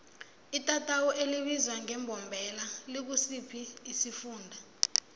itatawu elibizwa ngembombela likusiphi isifunda